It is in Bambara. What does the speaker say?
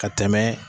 Ka tɛmɛ